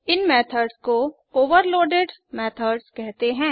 इन method को overloaded methods कहते हैं